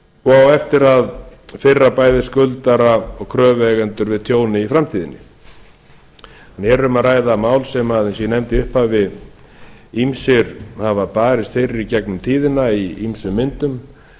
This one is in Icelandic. og á eftir að firra bæði skuldara og kröfueigendur við tjóni í framtíðinni hér er um að ræða mál eins og ég nefndi í upphafi ýmsir hafa barist fyrir í gegnum tíðina í ýmsum myndum